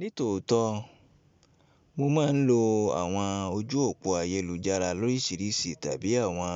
Nítòótó, mo máa ń lo àwọn ojú òpó ayélujára lórísìírísì tàbí àwọn